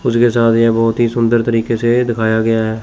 उसके साथ यह बहोत ही सुंदर तरीके से दिखाया गया है।